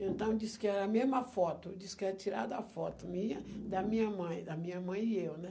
Então, disse que era a mesma foto, disse que era tirada a foto minha, da minha mãe, da minha mãe e eu, né?